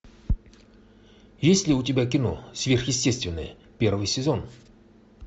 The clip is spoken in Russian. есть ли у тебя кино сверхъестественное первый сезон